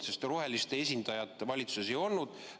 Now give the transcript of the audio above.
Sest roheliste esindajat valitsuses ei olnud.